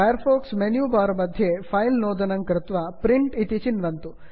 fire fox menu bar मध्ये file file इत्यत्र नुत्त्वा प्रिंट प्रिण्ट् इति चिन्वन्तु